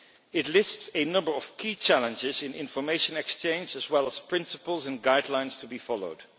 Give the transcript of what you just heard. It lists a number of key challenges in information exchange, as well as principles and guidelines to be followed.